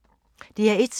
DR1